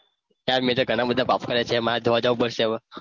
યાર અમે તો ઘણા બધા પાપ કર્યા છે માર ધોવા જવું પડશે હવે.